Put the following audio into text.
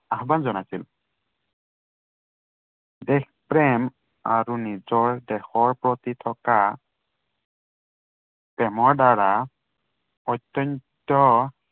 আহ্বান জনাইছিল। দেশ প্ৰেম আৰু নিজৰ দেশৰ প্ৰতি থকা প্ৰেমৰ দ্বাৰা, অত্য়ন্ত